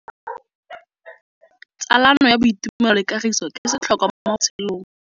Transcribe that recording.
Tsalano ya boitumelo le kagiso ke setlhôkwa mo botshelong.